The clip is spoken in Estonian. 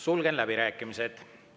Sulgen läbirääkimised.